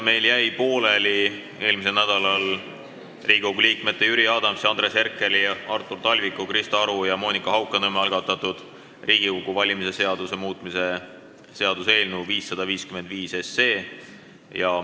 Eelmisel nädalal jäi meil pooleli Riigikogu liikmete Jüri Adamsi, Andres Herkeli, Artur Talviku, Krista Aru ja Monika Haukanõmme algatatud Riigikogu valimise seaduse muutmise seaduse eelnõu 555 esimene lugemine.